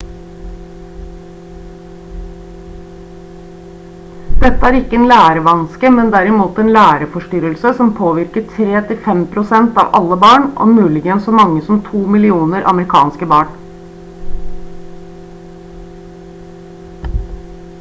dette er ikke en lærevanske men derimot en læreforstyrrelse som «påvirker 3–5% av alle barn og muligens så mange som 2 millioner amerikanske barn»